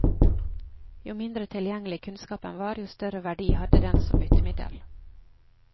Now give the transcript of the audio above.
Jo mindre tilgjengelig kunnskapen var, jo større verdi hadde den som byttemiddel.